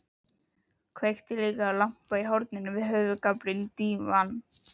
Kveikti líka á lampa í horninu við höfðagaflinn á dívaninum.